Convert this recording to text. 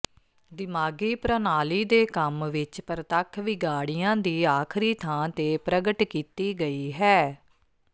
ਦਿਮਾਗੀ ਪ੍ਰਣਾਲੀ ਦੇ ਕੰਮ ਵਿਚ ਪ੍ਰਤੱਖ ਵਿਗਾਡ਼ੀਆਂ ਦੀ ਆਖਰੀ ਥਾਂ ਤੇ ਪ੍ਰਗਟ ਕੀਤੀ ਗਈ ਹੈ